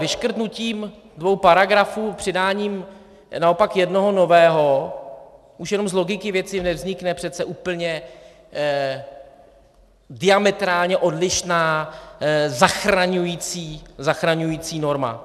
Vyškrtnutím dvou paragrafů, přidáním naopak jednoho nového už jenom z logiky věci nevznikne přece úplně diametrálně odlišná, zachraňující norma.